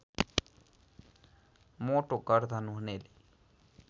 मोटो गर्दन हुनेले